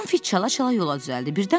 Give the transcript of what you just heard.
Tom fit çala-çala yola düzəldi.